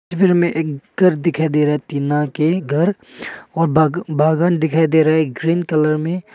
में एक घर दिखाई दे रहा है टीना के घर और बा बागान दिखाई दे रहा है ग्रीन कलर में।